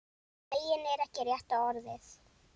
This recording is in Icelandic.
Feginn er ekki rétta orðið.